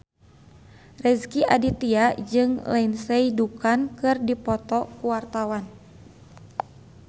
Rezky Aditya jeung Lindsay Ducan keur dipoto ku wartawan